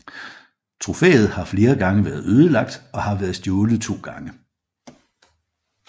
Trofæet har flere gange været ødelagt og har været stjålet to gange